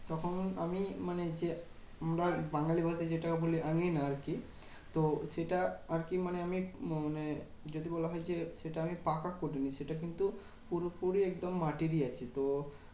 তখন আমি মানে যে, বাঙালি ভাষায় যেটাকে বলি আঙ্গিনা আরকি। তো সেটা আরকি মানে আমি মানে যদি বলা হয় যে, সেটা আমি পাকা করিনি সেটা কিন্তু পুরোপুরি একদম মাটিরই আছে। তো